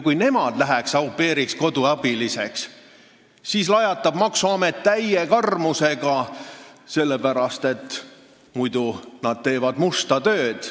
Kui nemad lähevad au pair'iks, lapsehoidjaks-koduabiliseks, siis lajatab maksuamet neile täie karmusega, sellepärast et muidu teevad nad ju musta tööd.